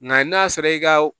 Nga n'a sɔrɔ i ka